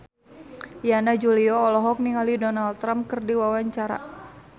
Yana Julio olohok ningali Donald Trump keur diwawancara